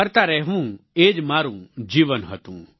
ફરતા રહેવું એ જ મારું જીવન હતું